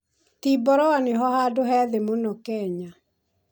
Timboroa nĩho handũ he thĩĩ mũno Kenya.